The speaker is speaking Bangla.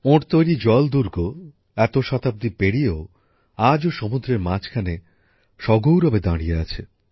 ওঁর তৈরি জলদূর্গ এত শতাব্দী পেরিয়েও আজও সমুদ্রের মাঝখানে সগৌরবে দাঁড়িয়ে আছে